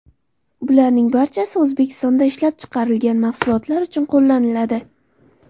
Bularning barchasi O‘zbekistonda ishlab chiqarilgan mahsulotlar uchun qo‘llaniladi.